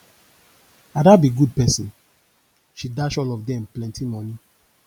ada be good person she dash all of dem plenty money